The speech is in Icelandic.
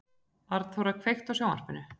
Arnþóra, kveiktu á sjónvarpinu.